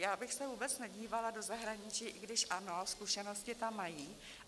Já bych se vůbec nedívala do zahraničí, i když ano, zkušenosti tam mají.